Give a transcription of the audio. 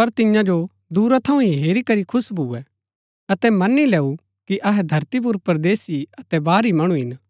पर तियां जो दूरा थऊँ ही हेरी करी खुश भुऐ अतै मन्‍नी लैऊँ कि अहै धरती पुर परदेसी अतै बाहरी मणु हिन